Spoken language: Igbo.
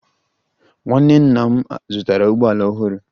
Nwa nwanne nna m zụtara ụgbọ ala ọhụrụ